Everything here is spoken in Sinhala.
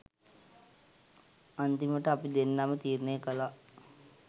අන්තිමට අපි දෙන්නම තීරණය කළා